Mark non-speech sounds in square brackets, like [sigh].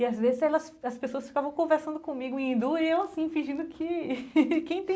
E às vezes elas as pessoas ficavam conversando comigo em hindu e eu assim, fingindo que... [laughs] que